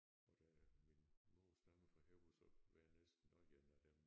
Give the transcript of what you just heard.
Og da min mor stammede fra Højer så var jeg næsten også en af dem